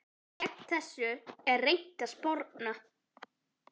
Gegn þessu er reynt að sporna.